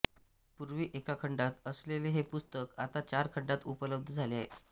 पूर्वी एका खंडात असलेले हे पुस्तक आता चार खंडात उपलब्ध झाले आहे